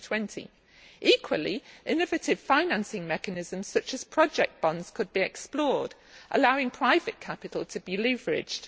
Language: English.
2020. Equally, innovative financing mechanisms such as project bonds could be explored, allowing private capital to be leveraged.